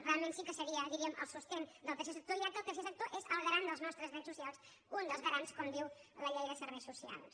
realment sí que seria diríem el suport del tercer sector ja que el tercer sector és el garant dels nostres drets socials un dels garants com diu la llei de serveis socials